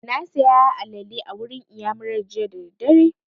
Na saya alale a wurin iyamurar jiya da daddare